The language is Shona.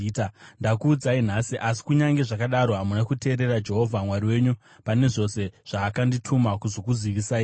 Ndakuudzai nhasi, asi kunyange zvakadaro hamuna kuteerera Jehovha Mwari wenyu pane zvose zvaakandituma kuzokuzivisai imi.